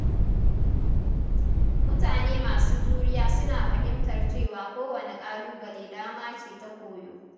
Mutane masu juriya suna fahimtar cewa kowane ƙalubale dama ce ta koyo.